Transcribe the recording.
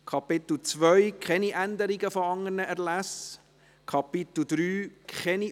Wer diese Gesetzesänderungen annimmt, stimmt Ja, wer sie ablehnt, stimmt Nein.